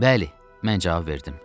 Bəli, mən cavab verdim.